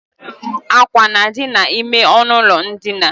Ákwà na-adi n'ime ọnụụlọ ndina